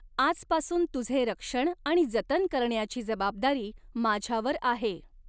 आजपासून तुझे रक्षण आणि जतन करण्याची जबाबदारी माझ्यावर आहे.